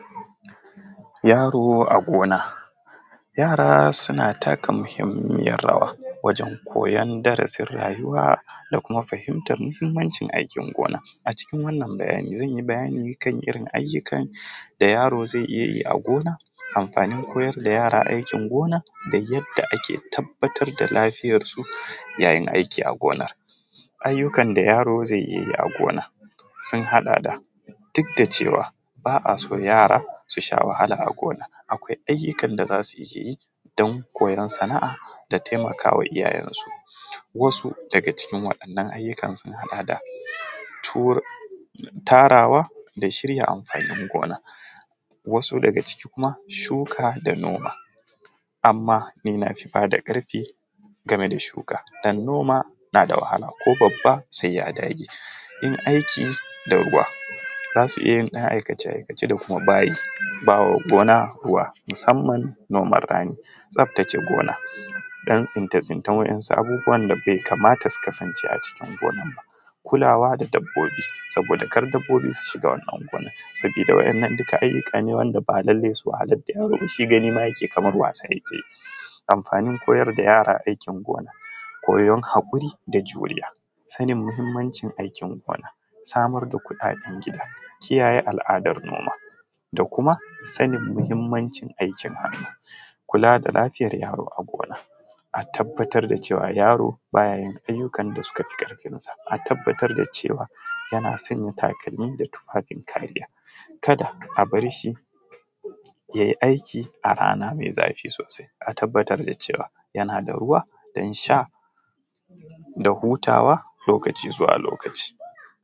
Yaro a gona yara suna taka muhimmiyar rawa wajen koyan darasin rayuwa da kuma fahimtar mahimmancin aikin gona acikin wannan bayani zanyi bayani akan irin ayyukan da yaro zai iyayi a gona amfani koyar da yara aikin gona da yadda ake tabbatar da lafiyarsu yayin aiki agona ayyukan da yaro zai iya yi a gona sun haɗa da duk da cewa ba a so yara su sha wahala a gona akwai ayyukan da zasu iya yi don koyar sana’a da taimakawa iyaye su wasu daga cikin waɗannan ayyuka sun haɗa da tarawa da shirya amfanin gona wasu daga ciki kuma shuka da noma, amma ni nafi bada ƙarfin game da shuka domin noma nada wahala ko babba sai ya dage in aiki da ruwa zasu iya yin ɗan aikace-aikace da kuma bawa gona ruwa musamman noman rani, tsaftace gona don tsince-tsincen waɗansu abubuwa wanda bai kamata ba su kasance a cikin gonar ba kulawa da dabbobi saboda kar dabbobi su shiga wannan gurin saboda wannan, duka ayyuka ne ba lallai su wahalar da yaro ba shi gani yake kaman wasa ma yake yi, amfanin koyar da yara aikin gona koyan hakuri da juriya sanin muhimmancin aikin gona samar da kuɗaɗen gida kiyaye al’adar noma da kuma sanin muhimmancin aikin hannu kula da lafiyar yaro a gona a tabbatar da cewa yaro baya yin ayyukan da suka fi karfinsa, a tabbatar da cewa yana sanya takalmi da tufafin kariya kada a barshi yayi aiki a rana mai zafi sosai, a tabbatar da cewa yana da ruwa dan sha da hutawa lokaci zuwa lokaci.